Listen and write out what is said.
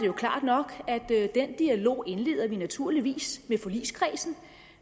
jo klart nok at den dialog indleder vi naturligvis i forligskredsen